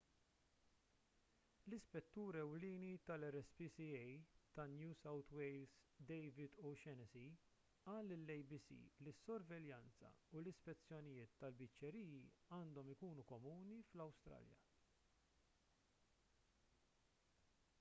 l-ispettur ewlieni tal-rspca ta' new south wales david o'shannessy qal lill-abc li s-sorveljanza u l-ispezzjonijiet tal-biċċeriji għandhom ikunu komuni fl-awstralja